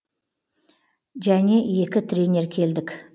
және екі тренер келдік